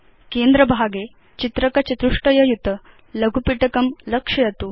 केन्द्रभागे चित्रक चतुष्टय युत लघुपिटकं लक्षयतु